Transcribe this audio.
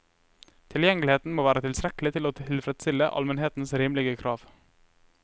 Tilgjengeligheten må være tilstrekkelig til å tilfredsstille allmennhetens rimelige krav.